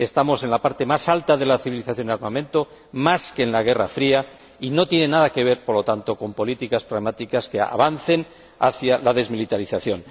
Estamos en el punto más alto de civilización y armamento, más que en la guerra fría, lo que no tiene nada que ver, por tanto, con políticas pragmáticas que avancen hacia la desmilitarización.